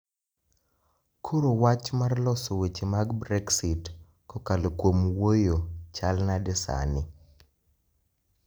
Koro wach mar loso weche mag brexit kokalo kuom wuoyo chal nade sani